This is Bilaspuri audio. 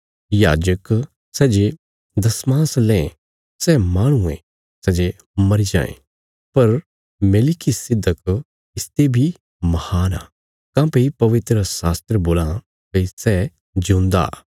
याजक सै जे दशमांश लें सै माहणु ये सै जे मरी जाये पर मेलिकिसिदक इसते बी महान आ काँह्भई पवित्रशास्त्र बोलां भई सै जिऊंदा